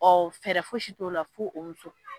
Ɔ fɛrɛ fosi t'o la fo o muso